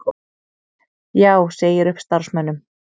Já segir upp starfsmönnum